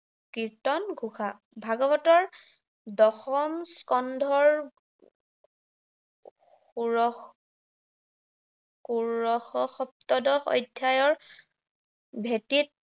কীৰ্তন ঘোষা। ভাগৱতৰ, দশম স্কন্ধৰ ষোড়শ ষোড়শ সপ্তদশ অধ্যায়ৰ ভেটিত